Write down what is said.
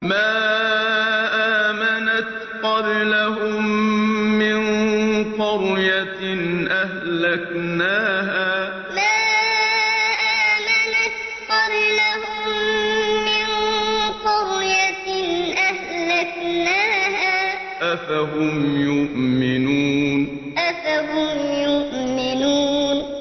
مَا آمَنَتْ قَبْلَهُم مِّن قَرْيَةٍ أَهْلَكْنَاهَا ۖ أَفَهُمْ يُؤْمِنُونَ مَا آمَنَتْ قَبْلَهُم مِّن قَرْيَةٍ أَهْلَكْنَاهَا ۖ أَفَهُمْ يُؤْمِنُونَ